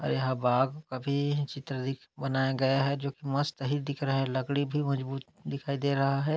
आहाय बाग अभी चित्र दिख बनाया गया है जो की मस्त अहि दिख रहा है। लकड़ी भी मजबूत दिखाई दे रहा हैं।